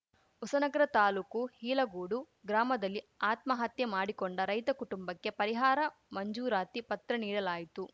ಹೊಸನಗರ ತಾಲೂಕು ಹೀಲಗೋಡು ಗ್ರಾಮದಲ್ಲಿ ಆತ್ಮಹತ್ಯೆ ಮಾಡಿಕೊಂಡ ರೈತ ಕುಟುಂಬಕ್ಕೆ ಪರಿಹಾರ ಮಂಜೂರಾತಿ ಪತ್ರ ನೀಡಲಾಯಿತು